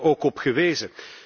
U hebt daar ook op gewezen.